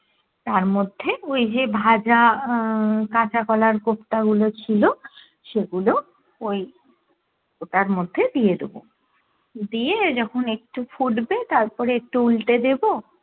তার মধ্যে ওই যে ভাজা আহ কাঁচা কলার কোপ্তা গুলো ছিলো সেগুলো ওই ওটার মধ্যে দিয়ে দেবো, দিয়ে যখুন একটু ফুটবে তারপরে একটু উলটে দেব,